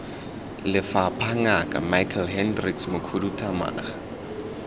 lefapha ngaka michael hendricks mokhuduthamaga